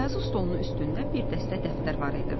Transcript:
Yazı stolunun üstündə bir dəstə dəftər var idi.